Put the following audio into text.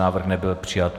Návrh nebyl přijat.